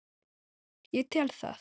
Ég tel það.